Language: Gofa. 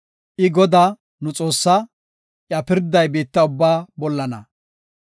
I Godaa, nu Xoossaa; iya pirday biitta ubbaa bollana.